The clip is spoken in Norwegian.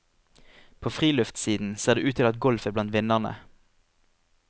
På friluftssiden ser det ut til at golf er blant vinnerne.